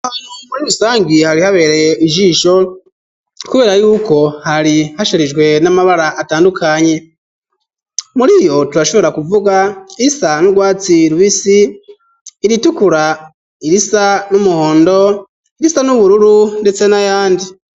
Aho hantu muri rusangi hari habereye ijisho kubera yuko hari hasharijwe n'amabara atandukanye muri iyo turashobora kuvuga irisa n'urwatsi rubisi, iritukura, irisa n'umuhondo irisa n'ubururu ndetse n'ayandi.